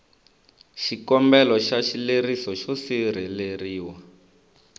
xikombelo xa xileriso xo sirheleriwa